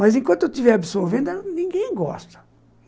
Mas enquanto eu estiver absorvendo, ninguém gosta.